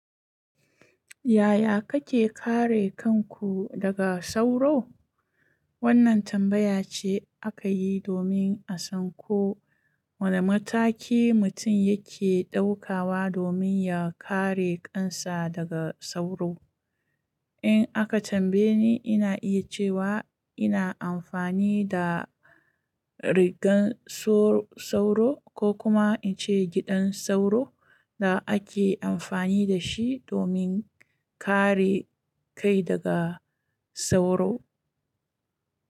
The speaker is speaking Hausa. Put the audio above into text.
Yaya kake kare kanku daga sauro? Wannan tambaya ce aka yi domin a san ko wane mataki mutum yake ɗaukawa domin ya kare kansa daga sauro. In aka tambaye ni, ina iya cewa ina amfani da rigar sauro, ko kuma in ce giɗan sauro, da ake amfani da shi domin kare kai daga sauro.